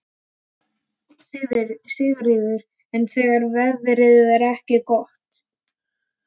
Sigríður: En þegar veðrið er ekki gott?